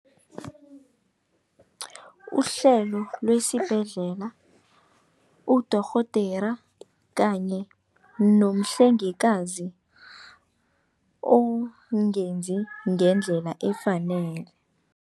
Uhlelo lwesibhedlela, udorhodera kanye nomhlengikazi ongenzi ngendlela efanele.